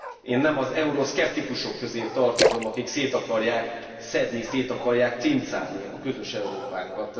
Én nem az euroszkeptikusok közé tartozom, akik szét akarják szedni, szét akarják cincálni a közös Európánkat.